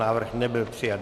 Návrh nebyl přijat.